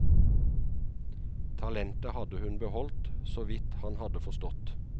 Talentet hadde hun beholdt, så vidt han hadde forstått.